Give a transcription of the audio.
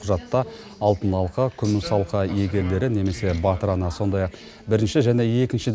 құжатта алтын алқа күміс алқа иегерлері немесе батыр ана сондай ақ бірінші және екінші